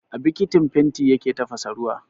A bikitin fenti yake tafasa ruwa